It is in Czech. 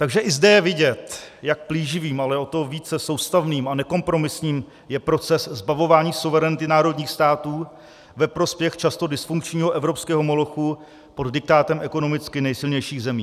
Takže i zde je vidět, jak plíživým, ale o to více soustavným a nekompromisním je proces zbavování suverenity národních států ve prospěch často dysfunkčního evropského molochu pod diktátem ekonomicky nejsilnějších zemí.